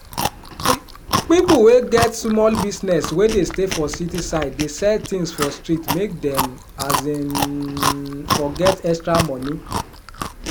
ppipu wey get sumol business wey dey stay for city side dey sell tins for street make dem um for get extra money